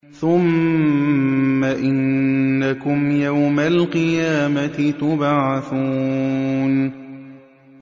ثُمَّ إِنَّكُمْ يَوْمَ الْقِيَامَةِ تُبْعَثُونَ